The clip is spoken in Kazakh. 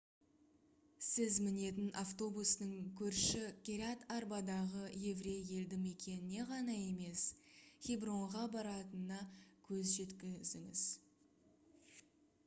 сіз мінетін автобустың көрші кирят-арбадағы еврей елді мекеніне ғана емес хебронға баратынына көз жеткізіңіз